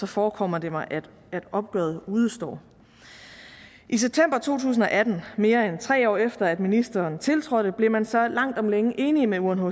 forekommer det mig at opgøret udestår i september to tusind og atten mere end tre år efter at ministeren tiltrådte blev man så langt om længe enige med unhcr